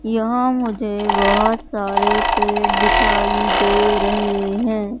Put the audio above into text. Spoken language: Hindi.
यहां मुझे बहुत सारे पेड़ दिखाई दे रहे है।